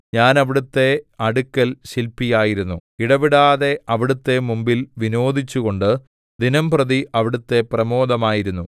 ഞാൻ അവിടുത്തെ അടുക്കൽ ശില്പി ആയിരുന്നു ഇടവിടാതെ അവിടുത്തെ മുമ്പിൽ വിനോദിച്ചുകൊണ്ട് ദിനംപ്രതി അവിടുത്തെ പ്രമോദമായിരുന്നു